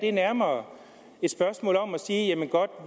er nærmere et spørgsmål om at sige godt